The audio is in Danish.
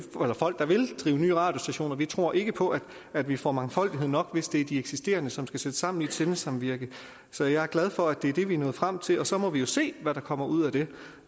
radiostationer vi tror ikke på at vi får mangfoldighed nok hvis det er de eksisterende som skal sidde sammen i et sendesamvirke så jeg er glad for at det er det vi er nået frem til og så må vi jo se hvad der kommer ud af det